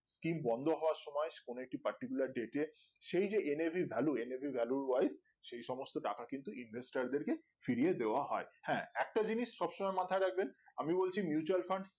skim বন্ধ হওয়ার সময় কোনো একটি particular date এ সেই যে nav value nav value র wife সেই সমস্ত টাকা কিন্তু invest টার দেড় ফিরিয়ে দেওয়া হয় হ্যাঁ একটা জিনিস সবসমই মাথায় রাখবেন আমি বলছি mutual Fund